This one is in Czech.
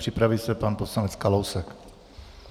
Připraví se pan poslanec Kalousek.